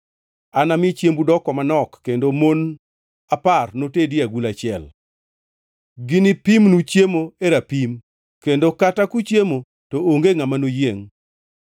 Anami chiembu doko manok kendo mon apar notedi e agulu achiel. Ginipimnu chiemo e rapim, kendo kata kuchiemo to onge ngʼama noyiengʼ.